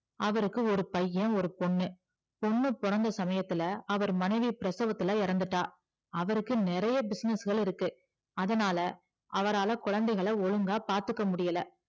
அவருக்கு ஒரு பைய ஒரு பொண்ணு பொண்ணு பிறந்த சமையத்துல அவர் மனைவி பிரசவத்துல இறந்துட்டா அவருக்கு நிறைய business கள் இருக்கு அதுனால அவரால குழந்தைகளா சரியா பாத்துக்க முடியல